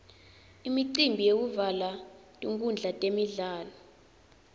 imicimbi yekuvulwa kwetinkhundla temidlalo